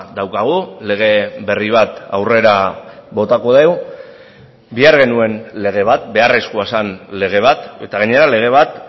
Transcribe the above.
daukagu lege berri bat aurrera botako dugu behar genuen lege bat beharrezkoa zen lege bat eta gainera lege bat